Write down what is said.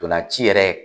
Ntolan ci yɛrɛ